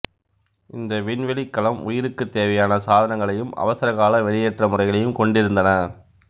இந்த விண்வெளிக்கலம் உயிருக்குத் தேவையான சாதனங்களையும் அவசரகால வெளியேற்ற முறைகளையும் கொண்டிருந்தன